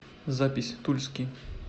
запись тульский